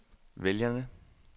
vælgerne